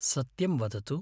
सत्यं वदतु।